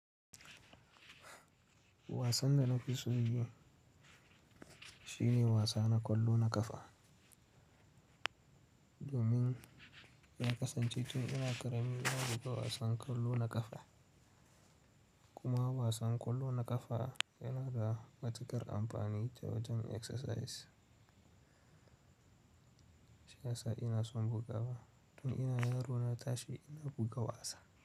Wasan da na fi so yin shi ne wasa na kwallo na ƙafa. Domin ya kasancetun ina ƙaramin na buga wasan kwallo na ƙafa. Kuma wasan kwallo na ƙafa yana da matukar amfani ta wajen exercise. Shiyasa ina son bugawa. Tun ina yaro na tashi ina buga wasa.